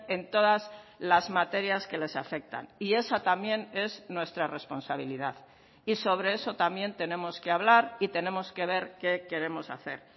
en todas las materias que les afectan y esa también es nuestra responsabilidad y sobre eso también tenemos que hablar y tenemos que ver qué queremos hacer